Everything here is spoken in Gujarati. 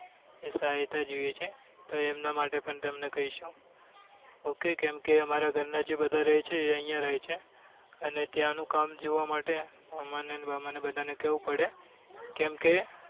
સહાયતા જોઈએ છે તો એમના માટે પણ તેમને કહીશું ok કેમ કે અમારા ઘર ના જે બધા રહે છે એ અહિયાં રહે છે અને ત્યાં નું કામ જોવા માટે મામા ને બામાં બધા ને કેવું પડે કેમ કે